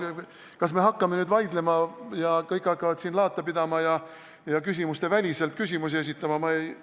Ei no, kas me hakkame nüüd vaidlema ja kõik hakkavad siin laata pidama ja registreeritud küsimuste väliselt küsimusi esitama?